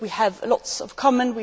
We have lots in common.